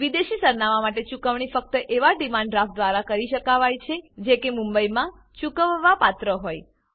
વિદેશી સરનામાં માટે ચુકવણી ફક્ત એવા ડીમાંડ ડ્રાફ્ટ દ્વારા કરી શકાવાય છે જે કે મુંબઈમાં ચૂકવવાપાત્ર હોય